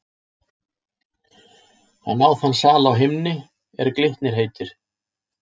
Hann á þann sal á himni, er Glitnir heitir.